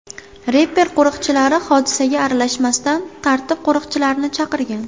Reper qo‘riqchilari hodisaga aralashmasdan, tartib qo‘riqchilarini chaqirgan.